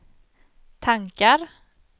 tankar